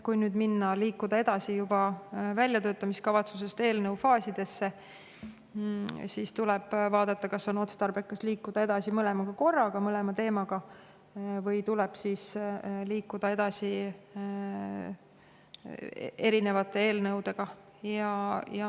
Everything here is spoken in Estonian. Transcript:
Kui nüüd minna edasi, väljatöötamiskavatsusest eelnõu faasidesse, siis tuleb vaadata, kas on otstarbekas liikuda edasi mõlema teemaga korraga või tuleb liikuda edasi erinevate eelnõudega.